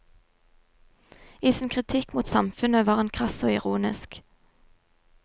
I sin kritikk mot samfunnet var han krass og ironisk.